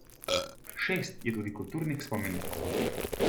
Šest je tudi kulturnih spomenikov.